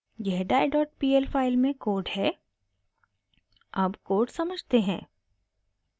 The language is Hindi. यह diepl फाइल में कोड है अब कोड समझते हैं